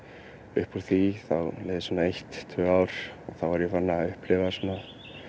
upp úr því þá leið svona eitt tvö ár og þá var ég farinn að upplifa svona